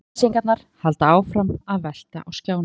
Auglýsingarnar halda áfram að velta á skjánum.